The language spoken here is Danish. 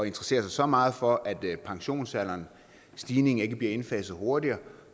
interessere sig så meget for at pensionsalderens stigning ikke bliver indfaset hurtigere